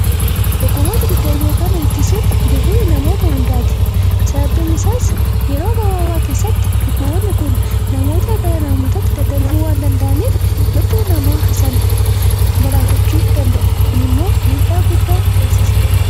Dhukkuboota daddarboo kan ittisuun ghee namoota hundaati. sababbiin isaas yeroo gabaabaa keessatti dhukkuboonni kun namootaa gara namootaatti daddarbuu waan danda'aniif lubbuu namaa galaafachuu danda'u kunimmoo dhiibbaa cimaa geessisa.